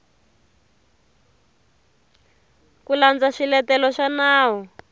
ku landza swiletelo swa nawu